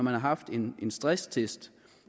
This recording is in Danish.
har haft en en stresstest